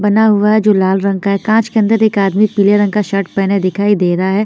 बना हुआ है जो लाला रंग का है कांच के अन्दर एक आदमी पीले रंग का शर्ट पहना दिखाई दे रहा है।